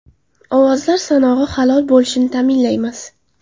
Ovozlar sanog‘i halol bo‘lishini ta’minlaymiz.